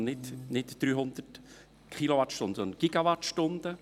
Entschuldigen Sie, nicht 300 Kilowattstunden, sondern Gigawattstunden.